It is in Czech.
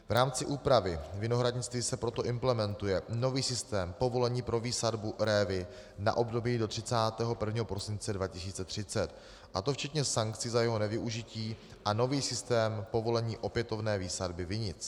V rámci úpravy vinohradnictví se proto implementuje nový systém povolení pro výsadbu révy na období do 31. prosince 2030, a to včetně sankcí za jeho nevyužití, a nový systém povolení opětovné výsadby vinic.